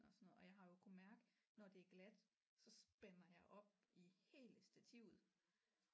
Og sådan noget og jeg har jo kunne mærke når det er glat så spænder jeg op i hele stativet